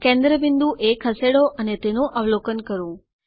કેન્દ્ર બિંદુ એ ખસેડો અને તેનું અવલોકન કરો